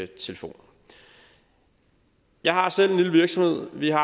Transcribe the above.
telefon jeg har selv en lille virksomhed vi har